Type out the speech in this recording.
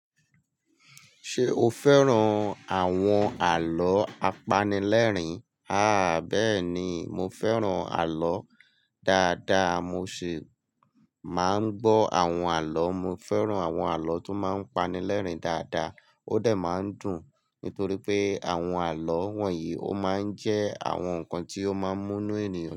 Ṣé o fẹ́ràn àwọn àlọ́ apanilẹ́rìn? Àá, bẹ́ẹ̀ni, mo fẹ́ràn àlọ́ dáadáa. Mo sì máa ń gbọ́ àwọn àlọ́. Mo fẹ́ràn àwọn àlọ́ tó máa ń pani lẹ́rìn dáadáa. Ó dẹ máa ń dùn, nítorí pé àwọn àlọ́ wọ̀nyí ó máa ń jẹ́ àwọn nǹkan tí ó máa ń mú inú ènìyàn.